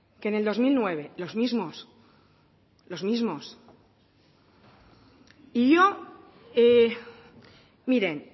que en el dos mil nueve los mismos los mismos y yo miren